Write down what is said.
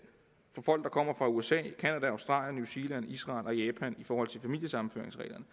folk der kommer fra usa canada australien new zealand israel og japan i forhold til familiesammenføringsreglerne